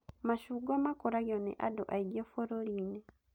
Machungwa makũragio nĩ andũ aingĩ bũrũri-inĩ